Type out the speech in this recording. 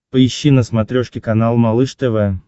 поищи на смотрешке канал малыш тв